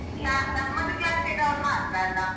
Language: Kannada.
ಅಹ ನಮ್ಮದು class ನವ್ರು ಮಾತ್ರ ಅಲ್ಲ?